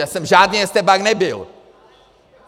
Já jsem žádný estébák nebyl!